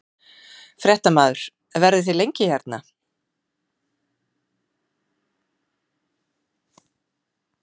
Fréttamaður: Verðið þið lengi hérna?